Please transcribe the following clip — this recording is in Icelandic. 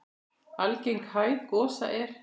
Algeng hæð gosa er